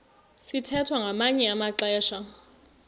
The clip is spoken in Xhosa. sithwethwa ngamanye amaxesha